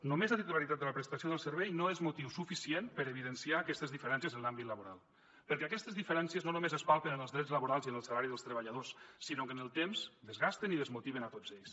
només la titularitat de la prestació del servei no és motiu suficient per a evidenciar aquestes diferències en l’àmbit laboral perquè aquestes diferències no només es palpen els drets laborals i en el salari dels treballadors sinó que amb el temps desgasten i desmotiven a tots ells